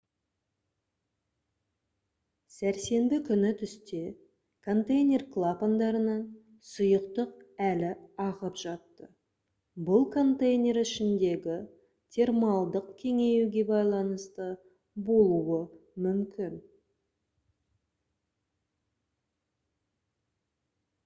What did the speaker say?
сәрсенбі күні түсте контейнер клапандарынан сұйықтық әлі ағып жатты бұл контейнер ішіндегі термалдық кеңеюге байланысты болуы мүмкін